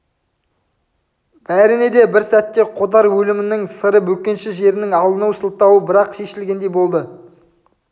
бәріне де бір сәтте қодар өлімінің сыры бөкенші жерінің алыну сылтауы бір-ақ шешілгендей болды